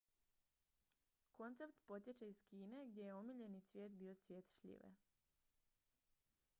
koncept potječe iz kine gdje je omiljeni cvijet bio cvijet šljive